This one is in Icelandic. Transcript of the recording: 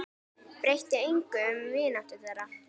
Breytti engu um vináttu þeirra.